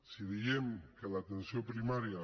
si diem que l’atenció primària